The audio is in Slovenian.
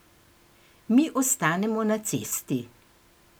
Mi ostanemo na cesti.